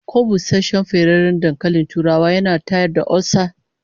Ko busasshen ferarren dankalin turawa yana tayar da olsa?